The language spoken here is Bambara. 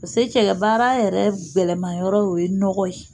pase cɛgɛ baara yɛrɛ gɛlɛnmanyɔrɔ o ye nɔgɔ ye